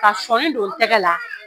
Ka sɔnnin don tɛgɛ la